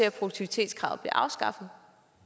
at produktivitetskravet vil blive afskaffet